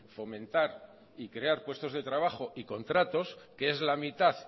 fomentar y crear puestos de trabajo y contratos que es la mitad